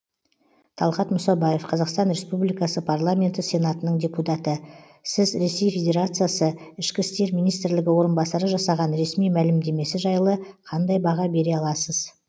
талғат мұсабаев қазақстан республикасы парламенті сенатының депутаты сіз ресей федерациясы ішкі істер министрлігі орынбасары жасаған ресми мәлімдемесі жайлы қандай баға бере аласыз